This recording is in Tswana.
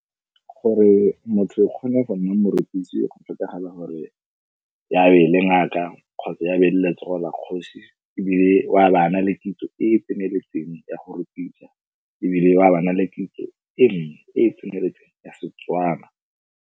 Gore motho o kgone go nna morekisi go tlhokagala gore ya be le ngaka kgotsa ya be letsogo la kgosi ebile wa baana le kitso e e tseneletseng ya go rupisa ebile wa baana le kitso e nngwe e e tseneletseng ya Setswana.